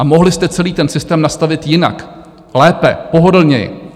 A mohli jste celý ten systém nastavit jinak - lépe, pohodlněji.